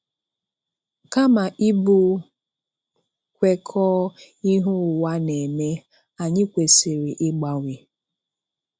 Kama ịbụ kwekọọ́ ihe ụwa na-eme, anyị kwesì̀rị̀ ịgbanwe.